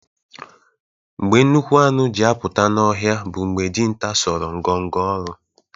Mgbe nnukwu anụ ji apụta n’ọhịa bụ mgbe dinta sọrọ ngọngọ ọrụ